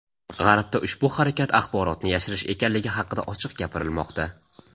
G‘arbda ushbu harakat axborotni yashirish ekanligi haqida ochiq gapirilmoqda.